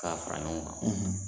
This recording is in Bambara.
K'a fara ɲɔgɔn kan